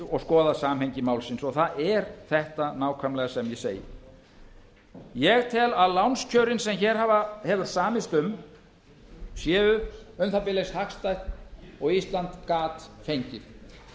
og skoðað samhengi málsins og það er þetta nákvæmlega sem ég segi ég tel að lánskjörin sem hér hefur samist um séu um það bil eins hagstæð og ísland gat fengið